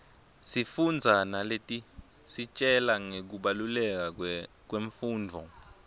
sifundza naletisitjela ngekubaluleka kwemfundvo